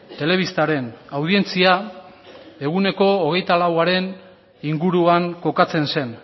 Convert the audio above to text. telebistaren audientzia eguneko hogeita lauaren inguruan kokatzen zen